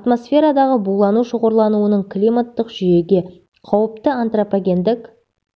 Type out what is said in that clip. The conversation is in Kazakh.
атмосферадағы булану шоғырлануының климаттық жүйеге қауіпті антропогендік